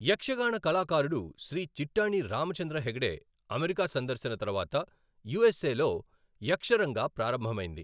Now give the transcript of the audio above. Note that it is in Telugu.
యక్షగాన కళాకారుడు శ్రీ చిట్టాణి రామచంద్ర హెగ్డే అమెరికా సందర్శన తర్వాత యూ ఎస్ ఏ లో యక్షరంగా ప్రారంభమైంది.